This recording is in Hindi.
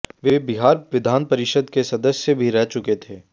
वे बिहार विधान परिषद के सदस्य भी रह चुके थे